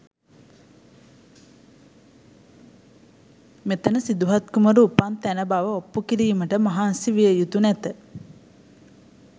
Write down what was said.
මෙතැන සිදුහත් කුමරු උපන් තැන බව ඔප්පු කිරීමට මහන්සි විය යුතු නැත.